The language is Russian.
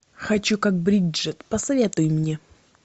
хочу как бриджит посоветуй мне